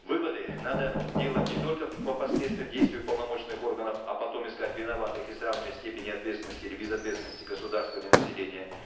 выводы надо делать не только по последствиям действий уполномоченных органов а потом искать виноватых и сравнивать степени отвественности или безответственности государства или населения